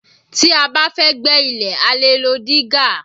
Tí a bá fẹ́ gbẹ́ ilẹ̀ a lè lo dígà